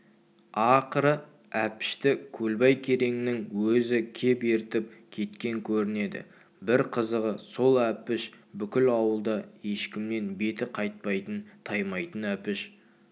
ақыры әпішті көлбай кереңнің өзі кеп ертіп кеткен көрінеді бір қызығы сол әпіш бүкіл ауылда ешкімнен беті қайтпайтын таймайтын әпіш